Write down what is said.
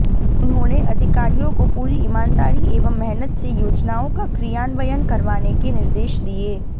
उन्होने अधिकारियों को पूरी ईमानदारी एवं मेहनत से योजनाओं का क्रियान्वयन करवाने के निर्देश दिये